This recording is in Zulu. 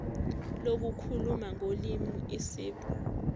lokukhuluma ngolimi isib